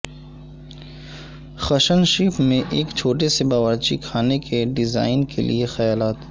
کھشنشیف میں ایک چھوٹے سے باورچی خانے کے ڈیزائن کے لئے خیالات